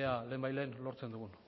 ea lehenbailehen lortzen dugun